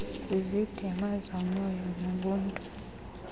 kwisidima somoya wobuntu